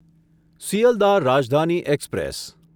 Sealdah Rajdhani express